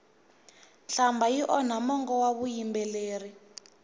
nhlambha yi onha mongo wa vuyimbeleri